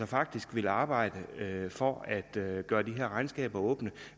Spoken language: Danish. faktisk vil arbejde for at gøre gøre de her regnskaber åbne